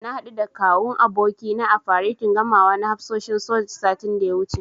Na haɗu da Kawun abokina a faretin gamawa na hafsoshin soja, satin da ya wuce.